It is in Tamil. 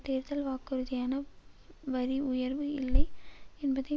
தேர்தல் வாக்குறுதியான வரி உயர்வு இல்லை என்பதை